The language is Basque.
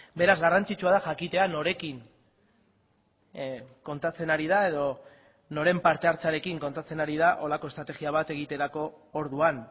beraz garrantzitsua da jakitea norekin kontatzen ari da edo noren parte hartzearekin kontatzen ari da horrelako estrategia bat egiterako orduan